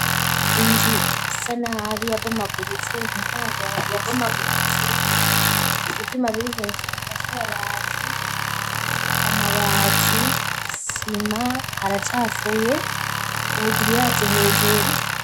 inzu isanabi ya bomaguritse miryango ya bomaguritse ivyumabiri hejuru bifashe amabati, amabati, isima haracafuye ubugiriyaje hejuru.